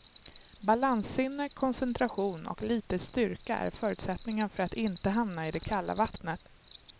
Balanssinne, koncentration och lite styrka är förutsättningar för att inte hamna i det kalla vattnet.